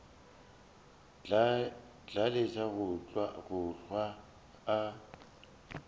tla lesa go hlwa a